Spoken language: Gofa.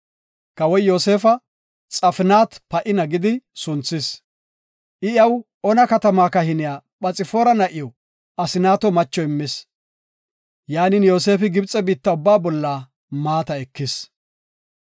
Kawoy Yoosefa, “Xafnaat-Pa7ina” gidi sunthis. I iyaw Ona katama kahiniya Phoxfaara na7iw Asnaato macho immis. Yaanin, Yoosefi Gibxe biitta ubbaa bolla maata ekis.